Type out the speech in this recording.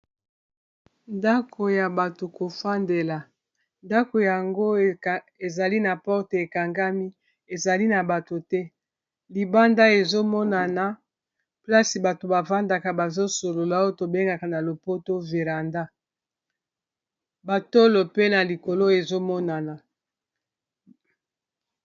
ndako ya bato kofandela ndako yango ezali na porte ekangami ezali na bato te libanda ezomonana plasi bato bafandaka bazosolola oyo tobengaka na lopoto viranda batolo pe na likolo ezomonana